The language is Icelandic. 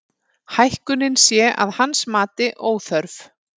Hækkunin sé að hans mati óþörf